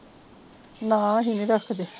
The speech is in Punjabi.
ਨਾਹ ਹੀ ਰੱਖਦੇ